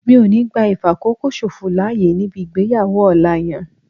Mi ò ní gbá ìfàkókòṣòfò láyè níbi ìgbéyàwó ọ̀la yẹn